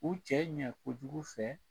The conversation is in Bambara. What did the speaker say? U cɛ ɲɛ ko jugu fɛ